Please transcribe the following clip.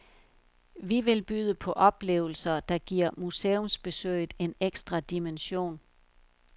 Vi vil byde på oplevelser, der giver museumsbesøget en ekstra dimension.